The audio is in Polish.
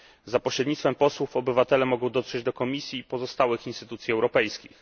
Za pośrednictwem posłów obywatele mogą dotrzeć do Komisji i pozostałych instytucji europejskich.